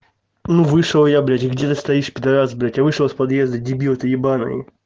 ну вышел я блядь где ты стоишь пидарас блядь я вышел с подъезда дебил ты ебанный